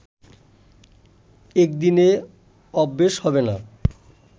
একদিনে অভ্যেস হবে না